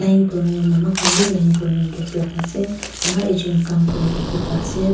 line kurina mama khan bi line kurina dress laga ase ama ekjun kaam kuri dikhi pai ase.